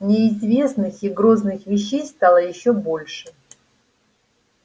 неизвестных и грозных вещей стало ещё больше